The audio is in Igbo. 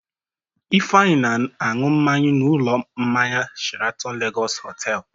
Ifeanyị na-aṅụ mmanya n'ụlọ mmanya Sheratọn Legọsị Họtelụ.